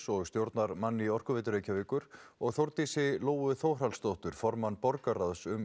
og stjórnarmann í Orkuveitu Reykjavíkur og Þórdísi Lóu Þórhallsdóttur formann borgarráðs um